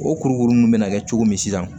O kurukuru nunnu bɛna kɛ cogo min sisan